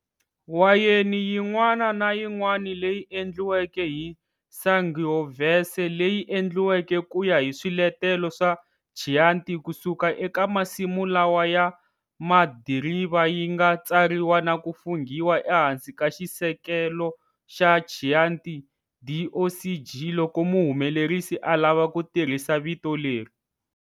Wayeni yin'wana na yin'wana leyi endliweke hi Sangiovese leyi endliweke kuya hi swiletelo swa Chianti kusuka eka masimu lawa ya madiriva yinga tsariwa naku funghiwa ehansi ka xisekelo xa Chianti DOCG loko muhumelerisi a lava ku tirhisa vito leri.